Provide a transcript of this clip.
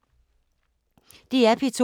DR P2